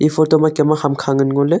e photo ma kam me ham kha ngan ngo ley.